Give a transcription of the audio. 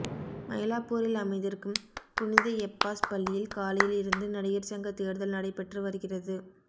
மயிலாப்பூரில் அமைந்திருக்கும் புனித எப்பாஸ் பள்ளியில் காலையில் இருந்து நடிகர் சங்க தேர்தல் நடைபெற்று வருகிறது